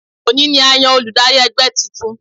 Òní ni a yan olùdarí ẹgbẹ́ titun